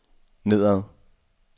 nedad